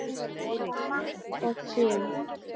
Og Matt og Kim?